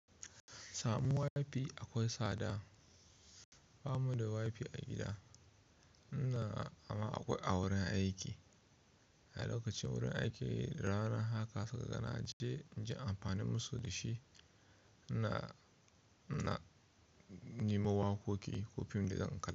Samun Wi-Fi akwai tsada. Ba mu da Wi-Fi a gida, amma akwai a wurin aiki. A lokacin wurin aiki, rana haka saika ga na je, in je inyi amfani musu da shi, ina nima waƙoƙi ko fim da zan kalla.